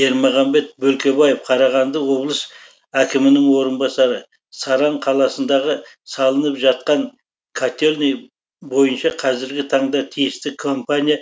ермағанбет бөлкебаев қарағанды облыс әкімінің орынбасары саран қаласындағы салынып жатқан котельний бойынша қазіргі таңда тиісті компания